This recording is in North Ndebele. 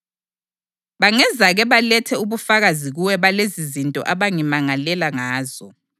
Bangezake balethe ubufakazi kuwe balezizinto abangimangalela ngazo.